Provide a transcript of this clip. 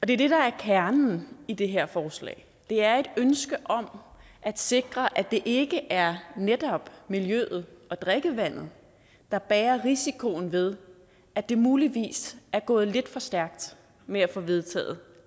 det er det der er kernen i det her forslag det er et ønske om at sikre at det ikke er netop miljøet og drikkevandet der bærer risikoen ved at det muligvis er gået lidt for stærkt med at få vedtaget